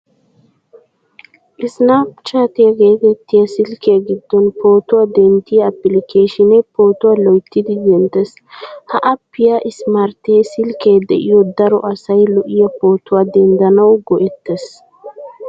Isippanchaatiya geetettiya silkkiya giddon pootuwaa denttiya appilikeeshinee pootuwaa loyttidi denttees. Ha appiya ismartte silkkee de'iyo daro asay lo'iya pootuwaa denddanawu go'ettees.